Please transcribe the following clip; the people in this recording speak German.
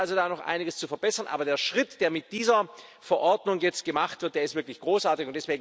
Es gibt da also noch einiges zu verbessern, aber der Schritt, der mit dieser Verordnung jetzt gemacht wird, ist wirklich großartig.